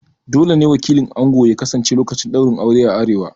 Dole ne wakilin ango ya kasance lokacin ɗaurin aure a arewa